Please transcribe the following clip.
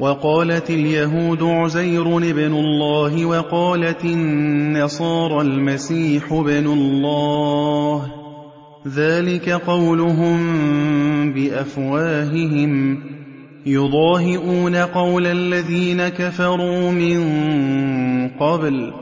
وَقَالَتِ الْيَهُودُ عُزَيْرٌ ابْنُ اللَّهِ وَقَالَتِ النَّصَارَى الْمَسِيحُ ابْنُ اللَّهِ ۖ ذَٰلِكَ قَوْلُهُم بِأَفْوَاهِهِمْ ۖ يُضَاهِئُونَ قَوْلَ الَّذِينَ كَفَرُوا مِن قَبْلُ ۚ